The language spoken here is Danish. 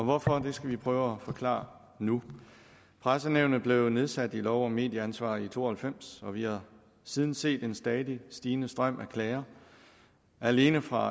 hvorfor det skal vi prøve at forklare nu pressenævnet blev nedsat i lov om medieansvar i nitten to og halvfems og vi har siden set en stadig stigende strøm af klager alene fra